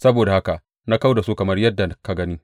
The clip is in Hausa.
Saboda haka na kau da su kamar yadda ka gani.